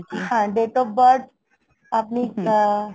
হ্যাঁ, date of birth আপনি আহ!